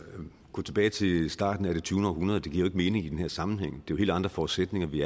at gå tilbage til starten af det tyvende århundrede giver jo mening i den her sammenhæng for det er helt andre forudsætninger vi